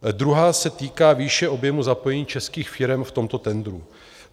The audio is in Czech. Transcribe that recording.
Druhá se týká výše objemu zapojení českých firem v tomto tendru.